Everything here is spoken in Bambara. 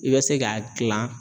I bɛ se k'a gilan